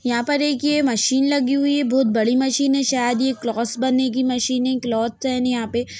यहाँ पर एक ये मशीन लगी हुई है बहोत बड़ी मशीन है शायद यह क्लॉथस बनने की मशीन है। क्लॉथ यहाँ पे --